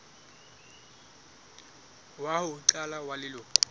wa ho qala wa leloko